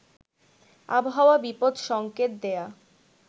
আবহাওয়া বিপদ সঙ্কেত দেয়া